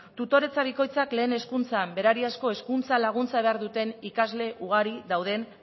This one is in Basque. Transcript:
tutoretza bikoitzak lehen hezkuntzan berariazko hezkuntza laguntza behar duten ikasle ugari dauden